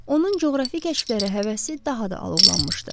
Onun coğrafi kəşflərə həvəsi daha da alovlanmışdı.